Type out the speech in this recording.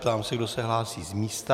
Ptám se, kdo se hlásí z místa.